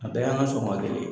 A bɛɛ y'an ka sɔgɔma kelen ye.